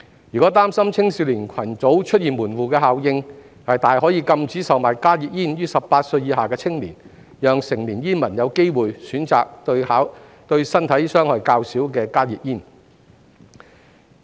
若擔心青少年群組出現門戶效應，大可禁止售買加熱煙予18歲以下的青年，讓成年煙民有機會選擇對身體傷害較少的加熱煙。